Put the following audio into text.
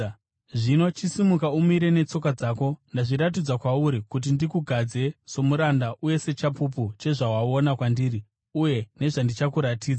Zvino chisimuka umire netsoka dzako. Ndazviratidza kwauri kuti ndikugadze somuranda uye sechapupu chezvawaona kwandiri uye nezvandichakuratidza.